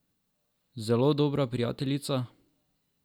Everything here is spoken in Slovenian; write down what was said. Zelo dobra prijateljica?